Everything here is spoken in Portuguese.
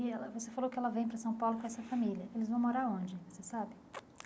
E ela você falou que ela vem para São Paulo com essa família, eles vão morar onde, você sabe?